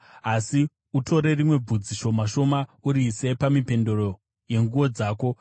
Asi utore rimwe bvudzi shoma shoma uriise pamipendero yenguo dzako.